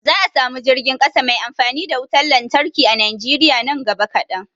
Za a samu jirgin ƙasa mai amfani da wutar lantarki a Najeriya nan gaba kadan